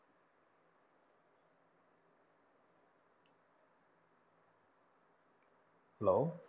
hello